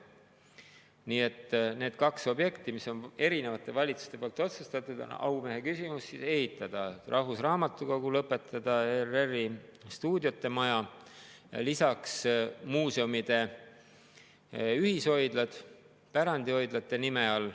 Nii et need kaks objekti, mis on erinevate valitsuste poolt otsustatud, on aumehe küsimus: ehitada rahvusraamatukogu, lõpetada ERR‑i stuudiote maja ja lisaks muuseumide ühishoidlad pärandihoidlate nime all.